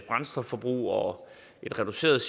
brændstofforbrug og en reduceret